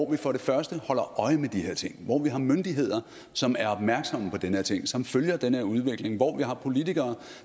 vi for det første holder øje med de her ting hvor vi har myndigheder som er opmærksomme på den her ting og som følger den her udvikling hvor vi har politikere